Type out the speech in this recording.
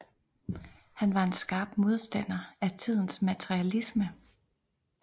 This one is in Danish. Han var en skarp modstander af tidens materialisme